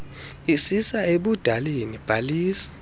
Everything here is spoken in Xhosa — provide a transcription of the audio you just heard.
isisa ebudaleni bhalisa